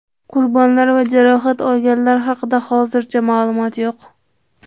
Qurbonlar va jarohat olganlar haqida hozircha ma’lumot yo‘q.